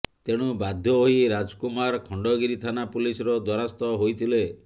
ତେଣୁ ବାଧ୍ୟ ହୋଇ ରାଜକୁମାର ଖଣ୍ଡଗିରି ଥାନା ପୁଲିସର ଦ୍ୱାରସ୍ଥ ହୋଇଥିଲେ